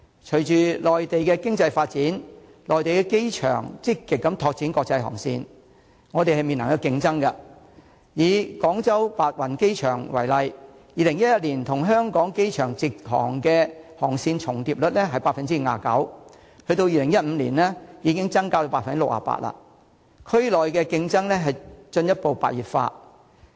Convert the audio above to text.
隨着內地的經濟發展，內地的機場積極拓展國際航線，香港正面臨競爭，以廣州白雲機場為例 ，2011 年與香港機場的直航航線重疊率為 59%； 在2015年，數字已經增加至 68%， 區內的競爭進一步白熱化。